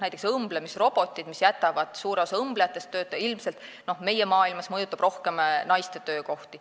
Näiteks jätavad õmblemisrobotid suure osa õmblejatest tööta ja meie maailmas mõjutab see ilmselt rohkem naiste töökohti.